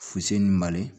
Fusenni mali